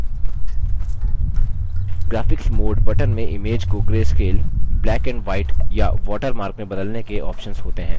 graphics mode button में image को grayscale blackandwhite या watermark में बदलने के options होते हैं